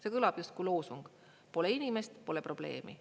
See kõlab justkui loosung: "Pole inimest, pole probleemi".